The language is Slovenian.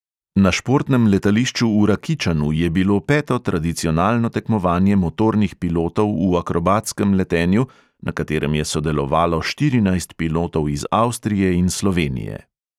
Na športnem letališču v rakičanu je bilo peto tradicionalno tekmovanje motornih pilotov v akrobatskem letenju, na katerem je sodelovalo štirinajst pilotov iz avstrije in slovenije.